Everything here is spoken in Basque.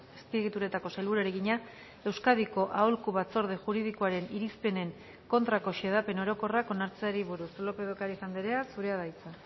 azpiegituretako sailburuari egina euskadiko aholku batzorde juridikoaren irizpenen kontrako xedapen orokorrak onartzeari buruz lópez de ocariz andrea zurea da hitza